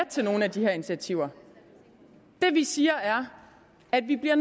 til nogle af de her initiativer det vi siger er at vi bliver